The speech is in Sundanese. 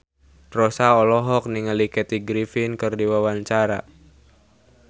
Rossa olohok ningali Kathy Griffin keur diwawancara